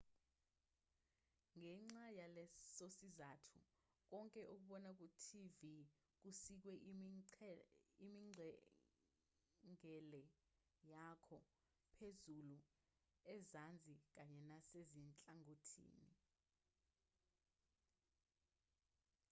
ngenxa yalesosizathu konke okubona kutv kusikwe imingcele yakho phezulu ezansi kanye nasezinhlangothini